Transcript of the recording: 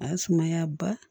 A ye sumaya ba